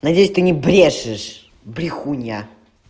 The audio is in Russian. надеюсь ты не брешешь брехунья